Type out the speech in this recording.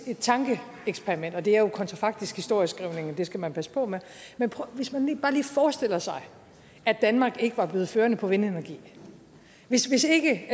tankeeksperiment og det er jo kontrafaktisk historieskrivning og det skal man passe på med men hvis man bare lige forestiller sig at danmark ikke var blevet førende på vindenergi hvis hvis ikke